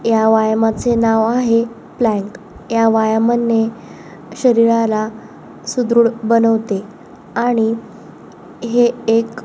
ह्या व्यायामाचे नाव आहे प्लॅन्क ह्या व्यायामाने शरीराला सुदृढ बनवते आणि हे एक--